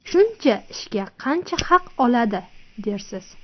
Shuncha ishga qancha haq oladi, dersiz.